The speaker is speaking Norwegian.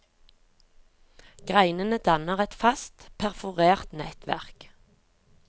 Greinene danner et fast perforert nettverk.